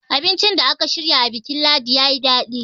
abincin da aka shirya a bikin ladi ya yi daɗi